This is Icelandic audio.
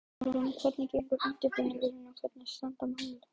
Hugrún, hvernig gengur undirbúningur og hvernig standa mál?